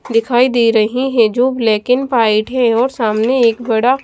दिखाई दे रहे हैं जो ब्लैक एंड व्हाइट है सामने एक बड़ा--